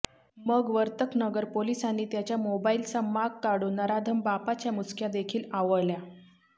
मग वर्तकनगर पोलिसांनी त्याच्या मोबाईलचा माग काढून नराधम बापाच्या मुसक्या देखील आवळल्या